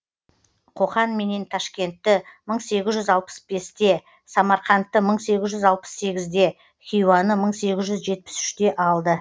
қоқан менен ташкентті мың сегіз жүз алпыс бесте самарқандты мың сегіз жүз алпыс сегізде хиуаны мың сегіз жүз жетпіс үште алды